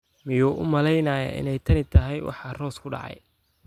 Miyuu u malaynayaa inay tani tahay waxa Rose ku dhacay?